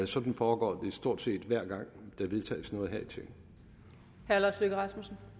sådan foregår det stort set hver gang der vedtages noget her